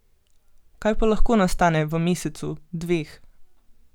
Kaj pa lahko nastane v mesecu, dveh?